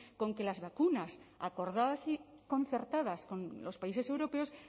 con que las vacunas acordadas y concertadas con los países europeos